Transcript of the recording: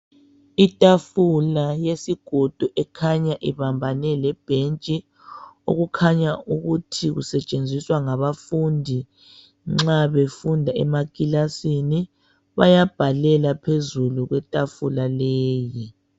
Itafula yesigodo ekhanya ibambane lebhentshi okukhanya ukuthi kusetshenziswa ngabafundi nxa befunda emakilasini. Bayabhalela phezulu kwetafula leyi.